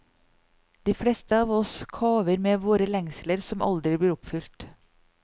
De fleste av oss kaver med våre lengsler som aldri blir oppfylt.